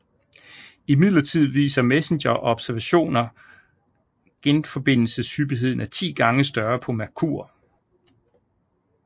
Imidlertid viser MESSENGER observationer genforbindelseshyppigheden er 10 gange større på Merkur